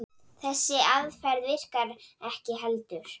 Þessi aðferð virkar ekki heldur.